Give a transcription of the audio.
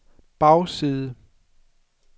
bagside